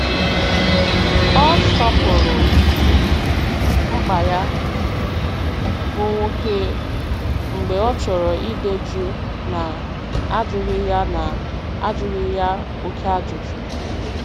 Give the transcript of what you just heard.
Ọ sọpụrụ mkpa ya bụ nwoke mgbe ọ chọrọ ide jụụ na ajụghị ya na ajụghị ya oké ajụjụ